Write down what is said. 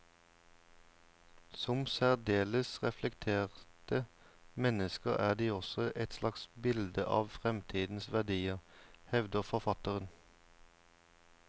Som særdeles reflekterte mennesker er de også et slags bilde av fremtidens verdier, hevder forfatteren.